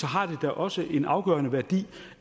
har det da også en afgørende værdi